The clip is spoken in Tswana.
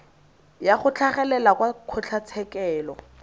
ya go tlhagelela kwa kgotlatshekelo